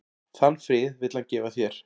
Þann frið vill hann gefa þér.